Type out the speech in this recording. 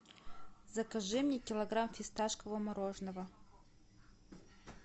закажи мне килограмм фисташкового мороженого